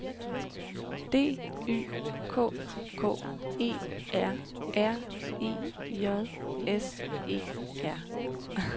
D Y K K E R R E J S E R